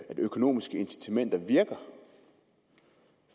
af at økonomiske incitamenter